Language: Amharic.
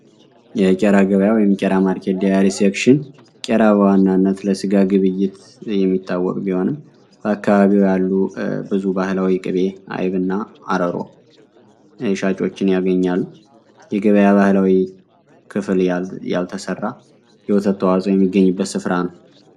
የቄራ ገበያው የምቀራ ማርኬ ዲያያር ሴክሽን ቀራ በዋናነት ለስጋ ግብይት የሚታወቅ ቢሆንም በአካህቢው ያሉ ብዙ ባህላዊ ቅቤ አይብ እና አረሮ እሻጮችን ያገኛሉ የገበያ ባህላዊ ክፍል ያልተሠራ የወተትተዋፅ የሚገኝበት ስፍራ ነው፡፡